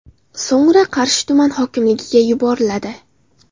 So‘ngra Qarshi tuman hokimligiga yuboriladi.